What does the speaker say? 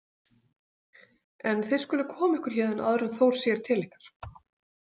En þið skuluð koma ykkur héðan áður en Þór sér til ykkar